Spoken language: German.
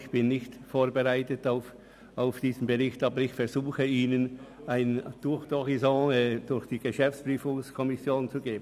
Trotzdem versuche ich, Ihnen einen Tour d’Horizon zur Tätigkeit der GPK zu bieten.